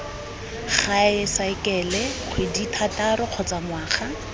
gae saekele kgwedithataro kgotsa ngwaga